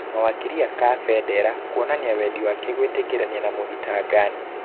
Mawakiri a Kabendera kũonania wendi wake gwĩtĩkanĩria na mũthitangani.